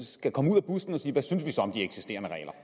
skal komme ud af busken og sige hvad synes om de eksisterende regler